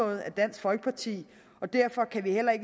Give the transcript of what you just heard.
af dansk folkeparti og derfor kan vi i